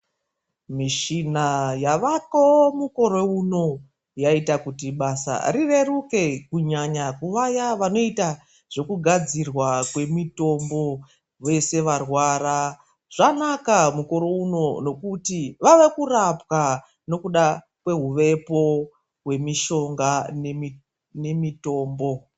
Mishina yavako mukore uno yaita kuti basa rireruke, kunyanya kuvaya vanoita zvekugadzirwa kwemitombo. Vese varwara zvanaka mukore uno nekuti vava kurapwa nokuda kwehuvepo hwemishonga nemitombo.